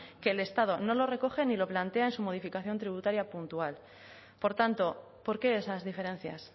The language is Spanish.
que el estado no lo recoge ni lo plantea en su modificación tributaria puntual por tanto por qué esas diferencias